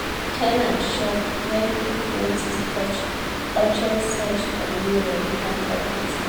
the ten ant shock when qik notice touch urgent search for new rental property.